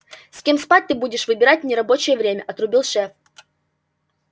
с кем спать ты будешь выбирать в нерабочее время отрубил шеф